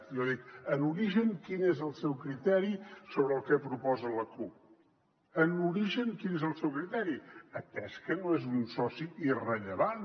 jo dic en origen quin és el seu criteri sobre el que proposa la cup en origen quin és el seu criteri atès que no és un soci irrellevant